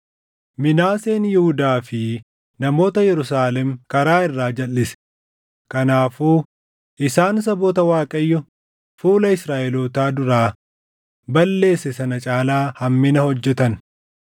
Minaaseen Yihuudaa fi namoota Yerusaalem karaa irraa jalʼise; kanaafuu isaan saboota Waaqayyo fuula Israaʼelootaa duraa balleesse sana caalaa hammina hojjetan.